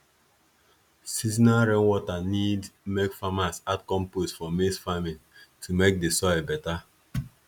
seasonal rainwater need make farmers add compost for maize farming to make the soil better